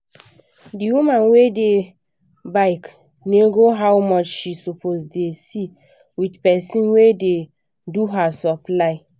d woman wey da bake nego how much she suppose da see with person wey da do her supply